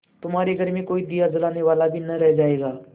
तुम्हारे घर में कोई दिया जलाने वाला न रह जायगा